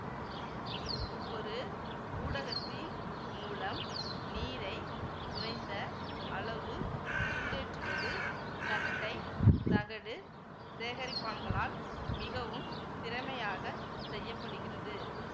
ஒரு ஊடகத்தின் மூலம் நீரை குறைந்த அளவு சூடேற்றுவது தட்டை தகடு சேகரிப்பான்களால் மிகவும் திறமையாக செய்ய படுகிறது